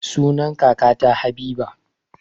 Sunan kakata habiba